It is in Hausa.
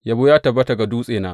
Yabo ta tabbata ga Dutsena!